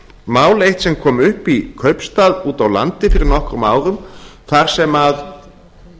mál eitt sem kom upp í kaupstað úti á landi fyrir nokkrum árum þar sem að